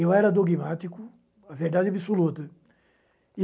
Eu era dogmático, a verdade absoluta.